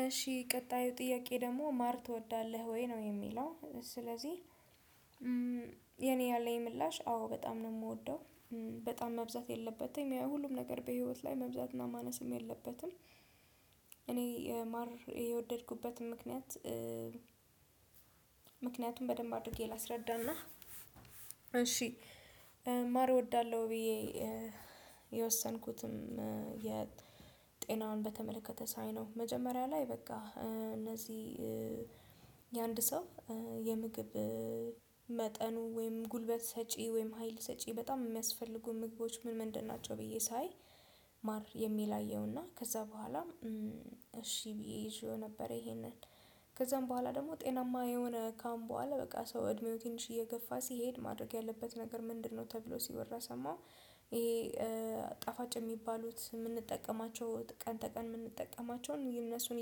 እሺ ቀጣዩ ጥያቄ ደግሞ ማር ትወዳለህ ወይ ነው የሚለው? ስለዚህ የኔ ያለኝ ምላሽ አዎ በጣም ነው የምወደው። በጣም መብዛት የለበትም ያ ሁሉም ነገር በህይወት ላይ መብዛትና ማነስም የለበትም። እኔ ማር የወደድኩበትም ምክንያት በደንብ አድርጌ ላስረዳና እሺ ማር እወዳለሁ። ብዬ የወሰንኩትም የጤናውን በተመለከተ ሳይ ነው መጀመሪያ ላይ በቃ እነዚህ የአንድ ሰው የምግብ መጠኑ ወይም ጉልበት ሰጪ ወይም ሀይል ሰጪ በጣም የሚያስፈልጉ ምግቦች ምን ምን ድናቸው ብዬ ሳይ? ማር የሚል አየሁና ከዛ በኋላ እሺ ብዬ ይዤው ነበር። ይሄንን ከዛም በኋላ ደግሞ ጤናማ የሆነ ካሁን በኋላ በቃ ሰው እድሜው ትንሽ እየገፋ ሲሄድ ማድረግ ያለበት ነገር ምንድነው ተብሎ ሲወራ ሰማው? ይሄ ጣፋጭ የሚባሉት የምንጠቀማቸው ቀን ተቀን የምንጠቀማቸውን እነሱን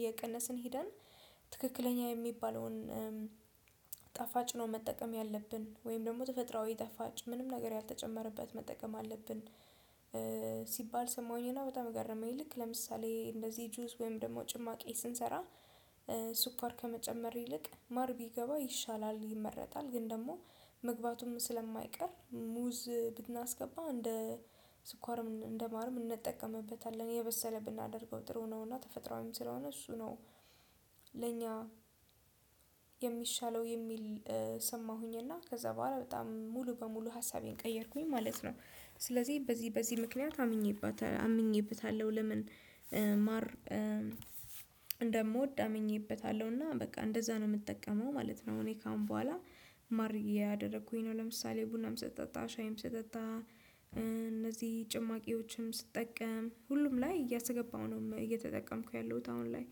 እየቀነስን ሄደን ትክክለኛ የሚባለውን ጣፋጭ ነው መጠቀም ያለብን ወይም ደግሞ ተፈጥሮአዊ ጣፋጭ ምንም ነገር ያልተጨመረበት መጠቀም አለብን። ሲባል ሰማሁኝ እና በጣም ገረመኝ ልክ ለምሳሌ እንደዚህ ጁስ ወይም ደግሞ ጭማቂ ስንሰራ ስኳር ከመጨመር ይልቅ ማር ቢገባ ይሻላል ይመረጣል። ግን ደግሞ መግባቱም ስለማይቀር ሙዝ ብናስገባ እንደ ስኳርም እንደ ማርም እንጠቀምበታለን የበሰለ ብናደርገው ጥሩ ነውና ተፈጥሮአዊም ስለሆነ እሱ ነው። ለኛ የሚሻለው የሚል ሰማሁኝና ከዛ በኋላ በጣም ሙሉ በሙሉ ሀሳቤን ቀየርኩኝ ማለት ነው። ስለዚህ በዚህ በዚህ ምክንያት አምኜበታለሁ ለምን ማር እንደምወድ አምኜበታለሁ እና በቃ እንደዛ ነው የምጠቀመው ማለት ነው። እኔ ካሁን በኋላ ማር ያደረኩኝ ነው ለምሳሌ ቡናም ስጠጣ ሻይም ስጠጣ እነዚህ ጭማቂዎችም ስጠቀም ሁሉም ላይ እያሰገባሁ ነው እየተጠቀምኩ ያለሁት። አሁን ላይ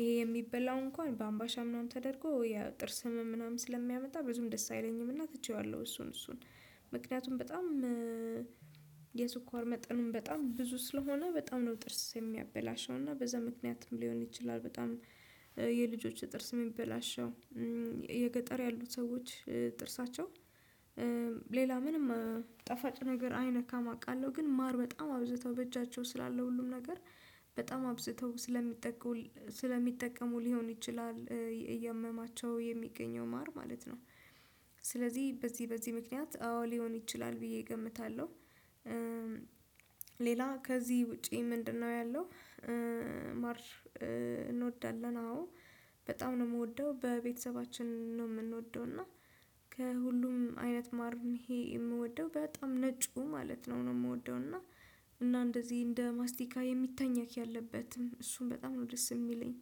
ይሄ የሚበላው እንኳን በአምባሻ ምናምን ተደርጎ ያው ጥርስ ህመም ምናምን ስለሚያመጣ ብዙም ደስ አይለኝም እና ትቼዋለሁ እሱን እሱን ምክንያቱም በጣም የስኳር መጠኑም በጣም ብዙ ስለሆነ በጣም ነው ጥርስ የሚያበላሸው እና በዛ ምክንያትም ሊሆን ይችላል። በጣም የልጆች ጥርስ የሚበላሸው የገጠር ያሉት ሰዎች ጥርሳቸው ሌላ ምንም ጣፋጭ ነገር አይነካም አውቃለሁ ግን ማር በጣም አብዝተው በእጃቸው ስላለው ሁሉም ነገር በጣም አብዝተው ስለሚጠቀሙ ሊሆን ይችላል እያመማቸው የሚገኘው ማር ማለት ነው። ስለዚህ በዚህ በዚህ ምክንያት አዎ ሊሆን ይችላል ብዬ እገምታለሁ ሌላ ከዚህ ውጪ ምንድነው? ያለው ማር እንወዳለን አዎ በጣም ነው የምወደው። በቤተሰባችን ነው የምንወደው እና ከሁሉም አይነት ማር ይሄ የምወደው በጣም ነጩ ማለት ነው የምወደው እና እንደዚህ እንደ ማስቲካ የሚታኘክ ያለበትም እሱን በጣም ነው ደስ የሚለኝ።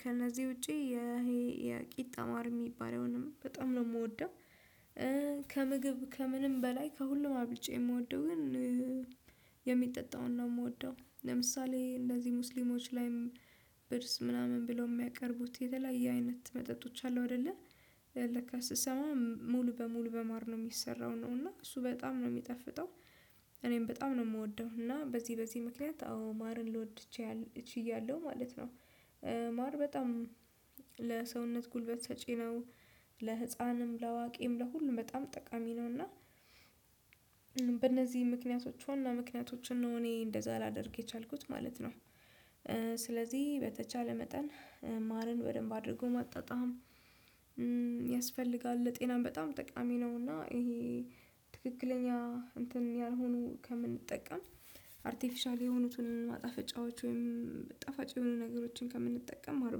ከነዚህ ውጪ ይሄ የቂጣ ማር ሚባለውንም በጣም ነው የምወደው። ከምግብ ከምንም በላይ ከሁሉም አብልጬ የምወደው ግን የሚጠጣውን ነው የምወደው ለምሳሌ እንደዚህ ሙስሊሞች ላይም ብርዝ ምናምን ብለው የሚያቀርቡት የተለያየ አይነት መጠጦች አሉ። አይደለ ለካ ስሰማ ሙሉ በሙሉ በማር ነው የሚሰራው ነው እና እሱ በጣም ነው የሚጠፍጠው እኔም በጣም ነው የምወደው። እና በዚህ በዚህ ምክንያት አዎ ማርን ልወድ ችያለሁ ማለት ነው። ማር በጣም ለሰውነት ጉልበት ሰጪ ነው ለህፃንም ለአዋቂም ለሁሉም በጣም ጠቃሚ ነው። እና በእነዚህ ምክንያቶች ዋና ምክንያቶችን እኔ እንደዛ ላደርግ የቻልኩት ማለት ነው። ስለዚህ በተቻለ መጠን ማርን በደንብ አድርጎ ማጣጣም ያስፈልጋል ለጤናም በጣም ጠቃሚ ነው። እና ይሄ ትክክለኛ እንትን ያልሆኑ ከምንጠቀም አርቲፊሻል የሆኑትን ማጣፈጫዎች ወይም ጣፋጭ የሆኑ ነገሮችን ከምንጠቀም ማር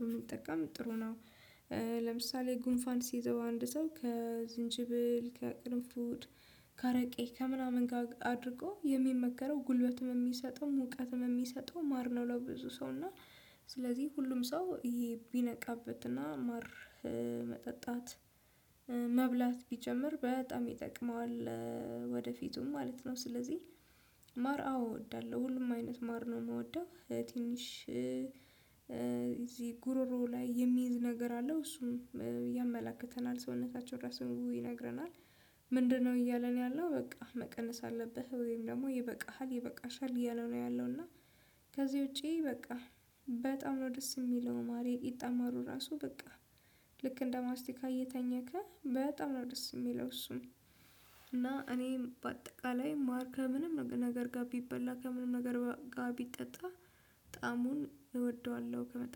ብንጠቀም ጥሩ ነው። ለምሳሌ ጉንፋን ሲይዘው አንድ ሰው ከዝንጅብል ከቅርንፉድ ከአረቄ ከምናምን ጋር አድርጎ የሚመከረው ጉልበትም የሚሰጠው ሙቀትም የሚሰጠው ማር ነው። ለብዙ ሰው እና ስለዚህ ሁሉም ሰው ይሄ ቢነቃበትና ማር መጠጣት መብላት ቢጀምር በጣም ይጠቅመዋል። የሚጠጣውን ነው የምወደው ለምሳሌ እንደዚህ ሙስሊሞች ላይም ብርስ ምናምን ብለው የሚያቀርቡት የተለያየ አይነት መጠጦች አሉ። አይደለ ለካ ስሰማ ሙሉ በሙሉ በማር ነው የሚሰራው ነው እና እሱ በጣም ነው የሚጠፍጠው እኔም በጣም ነው የምወደው። እና በዚህ በዚህ ምክንያት አዎ ማርን ልወድ ማር አወ ወዳለሁ ሁሉም አይነት ማር ነው የምወደው። ትንሽ እዚህ ጉሮሮው ላይ የሚይዝ ነገር አለው እሱም ያመላክተናል ሰውነታችን ራሱን ምግቡ ይነግረናል። ምንድነው እያለን ያለው በቃ መቀነስ አለብህ ወይም ደግሞ ይበቃሃል ይበቃሻል እያለው ነው ያለው። እና ከዚህ ውጪ በቃ በጣም ነው ደስ የሚለው ማር የቂጣ ማሩ ራሱ በቃ ልክ እንደማስቲካ እየታኘከ በጣም ነው ደስ የሚለው። እሱን እና እኔም በአጠቃላይ ማር ከምንም ነገር ጋር ቢበላ ከምንም ነገር ጋር ቢጠጣ ጣሙን እወደዋለሁ። ከመጣ